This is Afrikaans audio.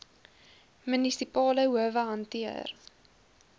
munisipale howe hanteer